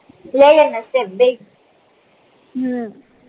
લેલ અને સ્ટેપ બેઈ હમ